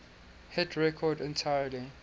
hit record entirely